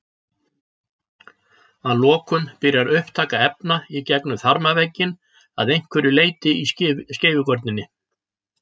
Að lokum byrjar upptaka efna í gegnum þarmavegginn að einhverju leyti í skeifugörninni.